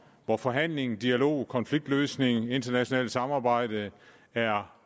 hvor forhandling dialog konfliktløsning og internationalt samarbejde er